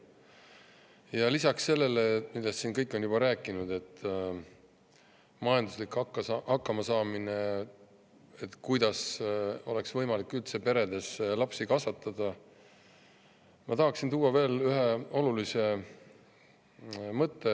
Ja lisaks sellele, millest siin kõik on juba rääkinud, nagu majanduslik hakkamasaamine ja see, kuidas üldse oleks võimalik peredes lapsi kasvatada, ma tahaksin tuua veel ühe olulise mõtte.